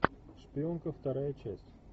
шпионка вторая часть